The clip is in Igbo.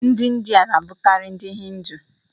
Ndị India na-abụkarị ndị Hindu.